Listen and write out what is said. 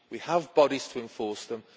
we have bodies to enforce them.